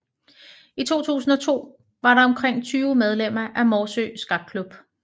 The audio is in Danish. I 2002 var der omkring 20 medlemmer af Morsø Skakklub